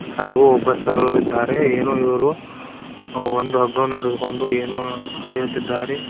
ಹಾಗೂ ಒಬ್ಬ ಸರೋಇದ್ದಾರೆ ಏನು ಇವರು ಒಂದು ಹಗ್ಗವನ್ನು ಹಿಡಿದುಕೊಂಡು ಏನೋ ಅಳೆಯುತ್ತಿದ್ದಾರೆ.